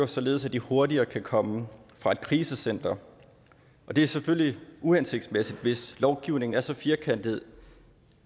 således at de hurtigere kan komme fra et krisecenter det er selvfølgelig uhensigtsmæssigt hvis lovgivningen er så firkantet